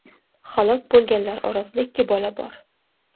Halok bo‘lganlar orasida ikki bola bor.